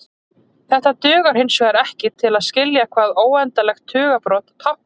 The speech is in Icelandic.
Þetta dugar hinsvegar ekki til að skilja hvað óendanlegt tugabrot táknar.